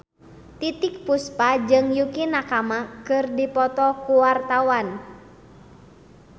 Titiek Puspa jeung Yukie Nakama keur dipoto ku wartawan